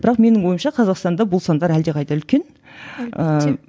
бірақ менің ойымша қазақстанда бұл сандар әлдеқайда үлкен ыыы әлбетте